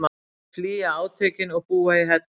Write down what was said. Flýja átökin og búa í hellum